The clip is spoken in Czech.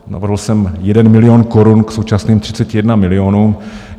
Navrhl jsem 1 milion korun k současným 31 milionům.